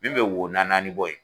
Min be wo naani naani bɔ yen